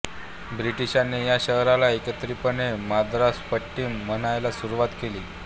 ब्रिटिशांनी या शहराला एकत्रितपणे मद्रासपट्टिनम म्हणायला सुरुवात केली